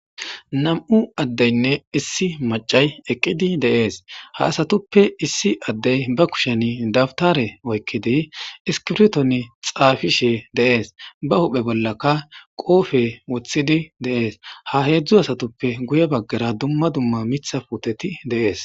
nam7u addeynne issi macay eqqidi deees ha asatuppe issi addey ba kushen dabtare oykkidi iskirton xaafishe deees ba huphe bollaka qoofe woththidi deees ha heedzdzu asatuppe guye baggara dumma dumma mitha puuteti deees